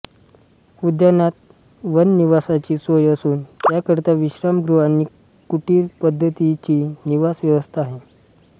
उद्यानात वननिवासाची सोय असून त्याकरिता विश्रामगृह आणि कुटिर पद्धतीची निवास व्यवस्था आहे